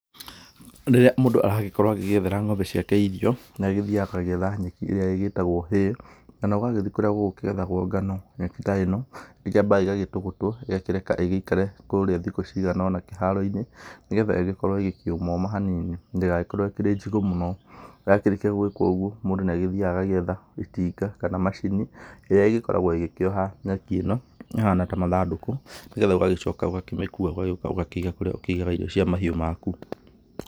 Rĩrĩa mũndũ aragĩkorwo agĩgĩethera ng'ombe ciake irio, nĩ agĩthiaga agagĩetha nyeki ĩrĩa ĩgĩtagwo hay, kana ũgagĩthiĩ kũrĩa gũgũkĩgethagwo ngano. Nyeki ta ĩno, ĩkĩambaga ĩgagĩtũgũtwo, ĩgakĩreka ĩgĩikare kũrĩa thikũ cigana ũna kũrĩa kĩharo-inĩ, nĩgetha ĩgĩkorwo ĩgĩkĩũma ũma hanini ndĩgagĩkorwo ĩkĩrĩ njigũ mũno. Yakĩrĩkia gwĩkwo ũguo, mũndũ nĩ agĩthiaga agagĩetha itinga kana macini ĩrĩa ĩgĩkoragwo ĩgĩkĩoha nyeki ĩno ĩhana ta mathandũkũ, nĩgetha ũgagĩcoka ũgakĩmĩkua ũgagĩũka ũgakĩiga kũrĩa ũkĩigaga irio cia mahiũ maku.